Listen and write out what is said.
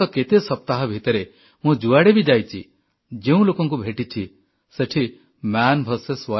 ଗତ କେତେ ସପ୍ତାହ ଭିତରେ ମୁଁ ଯୁଆଡ଼େ ବି ଯାଇଛି ଯେଉଁ ଲୋକଙ୍କୁ ଭେଟିଛି ସେଠି ମନ୍ ଭିଆରଏସ୍